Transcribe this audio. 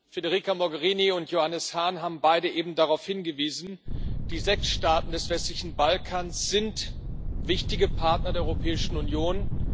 Federica Mogherini und Johannes Hahn haben beide eben darauf hingewiesen Die sechs Staaten des westlichen Balkans sind wichtige Partner der Europäischen Union.